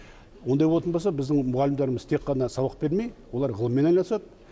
ондай болатын болса біздің мұғалімдарымыз тек қана сабақ бермей олар ғылыммен айналысады